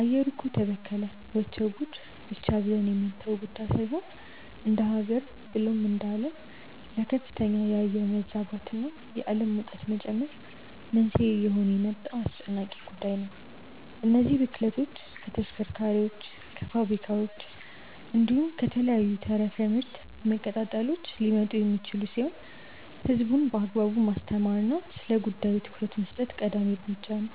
“አየሩ እኮ ተበከለ… ወቸው ጉድ” ብቻ ብለን የምንተወው ጉዳይ ሳይሆን እንደሃገር ብሎም እንደአለም ለከፍተኛ የአየር መዛባት እና የአለም ሙቀት መጨመር መንስኤ እየሆነ የመጣ አስጨናቂ ጉዳይ ነው። እነዚህ ብክለቶች ከተሽከርካሪዎች፣ ከፋብሪካዎች፣ እንዲሁም ከተለያዩ ተረፈ ምርት መቀጣጠሎች ሊመጡ የሚችሉ ሲሆን ህዝቡን በአግባቡ ማስተማር እና ስለጉዳዩ ትኩረት መስጠት ቀዳሚ እርምጃ ነው።